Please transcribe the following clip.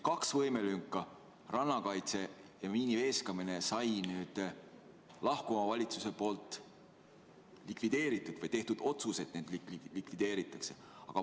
Kaks võimelünka, rannakaitse ja miiniveeskamine, said nüüd lahkuva valitsuse poolt likvideeritud või õigemini on tehtud otsus, et need lüngad likvideeritakse.